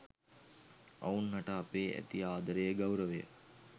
ඔවුන් හට අපේ ඇති ආදරය ගෞරවය